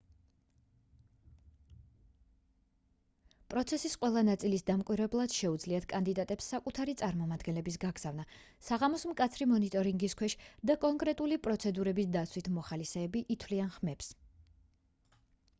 პროცესის ყველა ნაწილის დამკვირვებლად შეუძლიათ კანდიდატებს საკუთარი წარმომადგენლების გაგზავნა საღამოს მკაცრი მონიტორინგის ქვეშ და კონკრეტული პროცედურების დაცვით მოხალისეები ითვლიან ხმებს